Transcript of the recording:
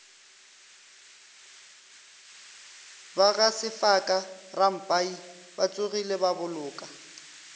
ba gasefaka rampai batsogile baboloka